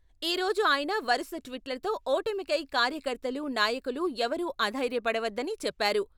ఈ రోజు ఆయన వరుస ట్వీట్లతో ఓటమికై కార్యకర్తలు, నాయకులు ఎవరూ అధైర్యపడవద్దని చెప్పారు.